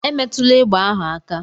Emetụla egbe ahụ aka!